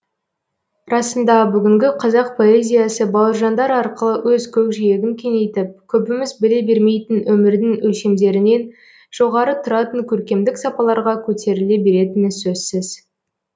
расында бүгінгі қазақ поэзиясы бауыржандар арқылы өз көкжиегін кеңейтіп көбіміз біле бермейтін өмірдің өлшемдерінен жоғары тұратын көркемдік сапаларға көтеріле беретіні сөзсіз